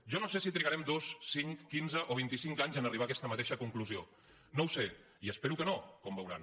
jo no sé si trigarem dos cinc quinze o vint i cinc anys a arribar a aquesta mateixa conclusió no ho sé i espero que no com veuran